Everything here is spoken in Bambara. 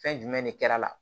Fɛn jumɛn de kɛr'a la